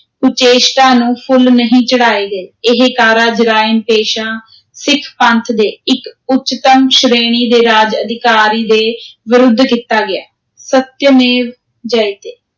ਕੁਚੇਸ਼ਟਾ ਨੂੰ ਫੁੱਲ ਨਹੀਂ ਚੜਾਏ ਗਏ, ਇਹ ਕਾਰਾ ਜਰਾਇਮ-ਪੇਸ਼ਾ ਸਿੱਖ ਪੰਥ ਦੇ ਇਕ ਉੱਚਤਮ ਸ਼੍ਰੇਣੀ ਦੇ ਰਾਜ-ਅਧਿਕਾਰੀ ਦੇ ਵਿਰੁੱਧ ਕੀਤਾ ਗਿਆ, ਸਤਯਮੇਵ ਜਯਤੇ।